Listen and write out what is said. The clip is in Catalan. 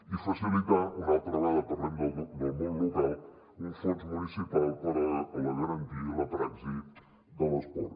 i facilitar una altra vegada parlem del món local un fons municipal per a la garantia i la praxi de l’esport